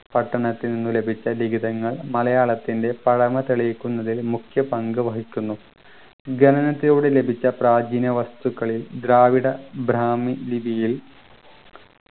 പട്ടണത്തിൽ നിന്ന് ലഭിച്ച ലിഖിതങ്ങൾ മലയാളത്തിൻ്റെ പഴമ തെളിയിക്കുന്നതിൽ മുഖ്യപങ്കു വഹിക്കുന്നു ഖനനത്തിലൂടെ ലഭിച്ച പ്രാചീന വസ്തുക്കളിൽ ദ്രാവിഡ ബ്രാഹ്മി ലിപിയിൽ